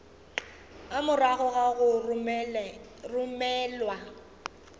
a morago ga go romelwa